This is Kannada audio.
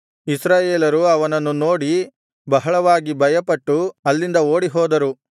ಇಸ್ರಾಯೇಲರು ಅವನನ್ನು ನೋಡಿ ಬಹಳವಾಗಿ ಭಯಪಟ್ಟು ಅಲ್ಲಿಂದ ಓಡಿಹೋದರು